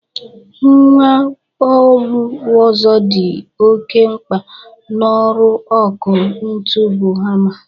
Mgwa ọlụ ọzọ dị oke mkpa n'ọrụ ọkụ ntụ bụ hama.